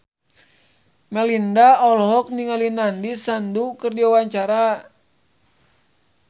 Melinda olohok ningali Nandish Sandhu keur diwawancara